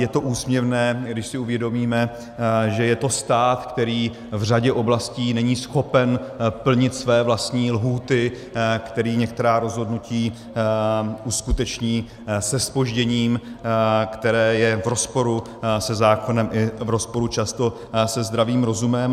Je to úsměvné, když si uvědomíme, že je to stát, který v řadě oblastí není schopen plnit své vlastní lhůty, který některá rozhodnutí uskuteční se zpožděním, které je v rozporu se zákonem i v rozporu často se zdravým rozumem.